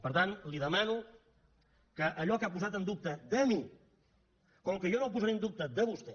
per tant li demano que allò que ha posat en dubte de mi com que jo no ho posaré en dubte de vostè